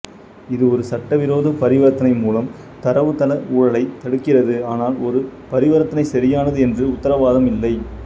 இது ஒரு சட்டவிரோத பரிவர்த்தனை மூலம் தரவுத்தள ஊழலைத் தடுக்கிறது ஆனால் ஒரு பரிவர்த்தனை சரியானது என்று உத்தரவாதம் இல்லை